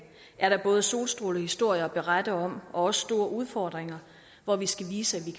er der både solstrålehistorier at berette om og også store udfordringer hvor vi skal vise